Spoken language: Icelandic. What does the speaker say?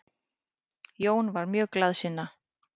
Jón var mjög glaðsinna.